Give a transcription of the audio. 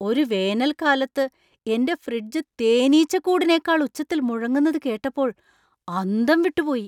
ഒരു വേനൽക്കാലത്ത് എന്‍റെ ഫ്രിഡ്ജ് തേനീച്ചക്കൂടിനെക്കാൾ ഉച്ചത്തിൽ മുഴങ്ങുന്നത് കേട്ടപ്പോൾ അന്തം വിട്ടുപോയി!